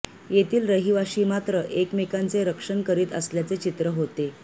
येथील रहिवासी मात्र एकमेकांचे रक्षण करीत असल्याचे चित्र होते